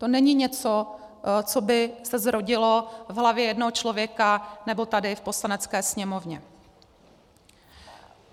To není něco, co by se zrodilo v hlavně jednoho člověka nebo tady v Poslanecké sněmovně.